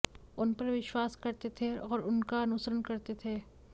उन पर विश्वास करते थे और उनका अनुसरण करते थे